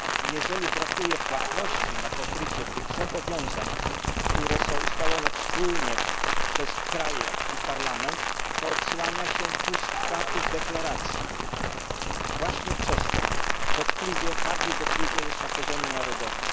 Jeżeli brakuje płatności na pokrycie tych zobowiązań, które są ustalone wspólnie przez kraje i Parlament, to odsłania się pustka tych deklaracji, właśnie przez to, bardziej dotkliwie niż na poziomie narodowym.